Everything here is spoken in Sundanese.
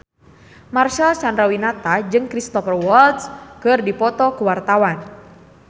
Marcel Chandrawinata jeung Cristhoper Waltz keur dipoto ku wartawan